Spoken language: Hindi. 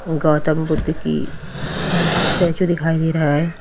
गौतम बुद्ध की स्टेच्यू दिखाई दे रहा है।